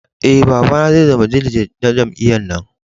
Eh, baba na zai zama diliget na jami'yyar na.